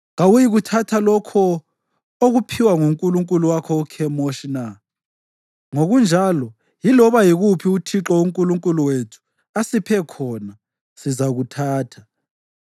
Kawuyikuthatha lokho okuphiwa ngunkulunkulu wakho uKhemoshi na? Ngokunjalo, yiloba yikuphi uThixo uNkulunkulu wethu asiphe khona, sizakuthatha.